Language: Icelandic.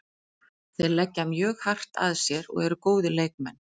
Þeir leggja mjög hart að sér og eru góðir leikmenn.